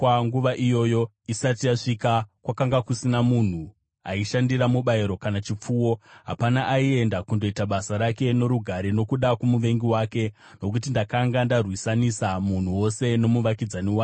Nguva iyoyo isati yasvika kwakanga kusina munhu aishandira mubayiro kana chipfuwo. Hapana aienda kundoita basa rake norugare nokuda kwomuvengi wake, nokuti ndakanga ndarwisanisa munhu wose nomuvakidzani wake.